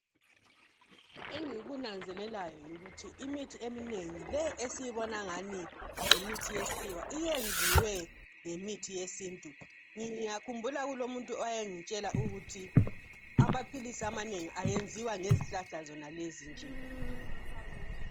Engikunanzelelayo yikuthi imithi eminengi le esiyibona ingani yimithi yesikhiwa yenziwe ngemithi yesiNtu. Ngiyakhumbula kulomuntu owayengitshela ukuthi amaphilisi amanengi enziwa ngezihlahla zonalezi nje.